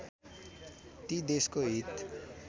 ती देशको हित